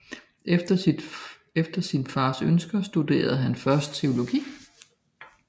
Efter sin fars ønsker studerede han først teologi